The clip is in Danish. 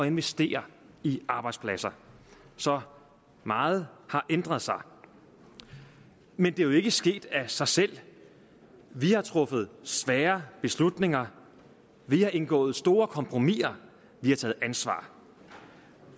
investere i arbejdspladser så meget har ændret sig men det er jo ikke sket af sig selv vi har truffet svære beslutninger vi har indgået store kompromisser vi har taget ansvar